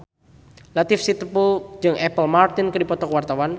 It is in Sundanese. Latief Sitepu jeung Apple Martin keur dipoto ku wartawan